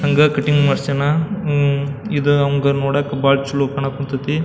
ಹಂಗ ಕಟ್ಟಿಂಗ್ ಮಾಡ್ಸ್ಯಾನ ಇದ್ ನಮ್ಗ ನೋಡಾಕ ಬಹಳ ಚಲೋ ಕಾನಾಕ್ ಹತ್ತೈತಿ.